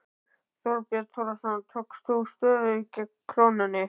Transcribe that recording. Þorbjörn Þórðarson: Tókst þú stöðu gegn krónunni?